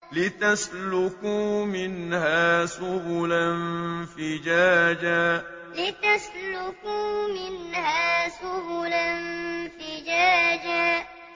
لِّتَسْلُكُوا مِنْهَا سُبُلًا فِجَاجًا لِّتَسْلُكُوا مِنْهَا سُبُلًا فِجَاجًا